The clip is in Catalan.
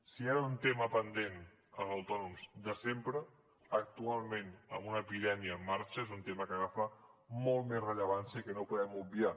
si hi ha un tema pendent en els autònoms de sempre actualment amb una epidèmia en marxa és un tema que agafa molta més rellevància i que no podem obviar